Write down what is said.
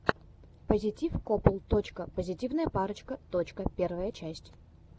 пазитив копл точка позитивная парочка точка первая часть